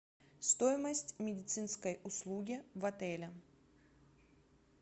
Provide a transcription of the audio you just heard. стоимость медицинской услуги в отеле